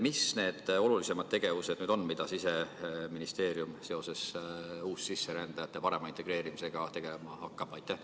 Mis need olulisemad tegevused on, mida Siseministeerium seoses uussisserändajate parema integreerimisega tegema hakkab?